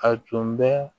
A tun bɛ